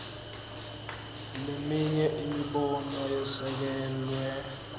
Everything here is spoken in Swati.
leminye imibono yesekelwe